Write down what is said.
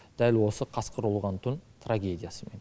дәл осы қасқыр ұлыған түн трагедиясымен